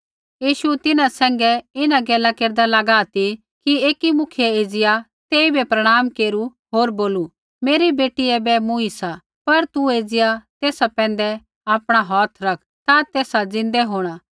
यीशु तिन्हां सैंघै इन्हां गैला केरदा लागा ती कि एकी मुखियै एज़िया तेइबै प्रणाम केरू होर बोलू मेरी बेटी ऐबै मूँई सा पर तू एज़िया तेसा पैंधै आपणा हौथ रख ता तेसा ज़िन्दै होंणा